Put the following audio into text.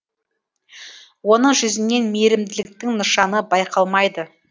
оның жүзінен мейірімділіктің нышаны байқалмайды